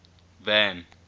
van